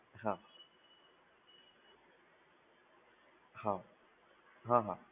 હા હા, હા હા.